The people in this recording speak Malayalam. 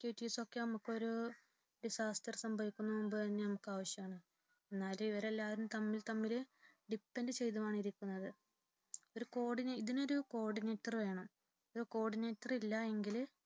Activities ഒക്കെ നമുക്കൊരു disaster സംഭവിക്കുന്നതിനു മുൻപ് തന്നെ നമുക്ക് ആവശ്യമാണ് എന്നാലും ഇവരെല്ലാം തമ്മിൽ തമ്മിൽ depend ചെയ്തുമാണ് ഇരിക്കുന്നത്. ഇതു ~ ഇതിന് ഒരു co-ordinator വേണം co-ordinator ഇല്ല എങ്കിൽ role